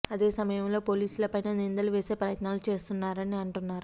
అదే సమయంలో పోలీసుల పైన నిందలు వేసే ప్రయత్నాలు చేస్తున్నారని అంటున్నారు